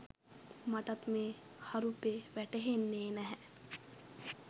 මටත් මේ හරුපෙ වැටහෙන්නෙ නැහැ